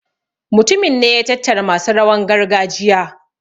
mutumin ne ya tattara masu rawan gargajiya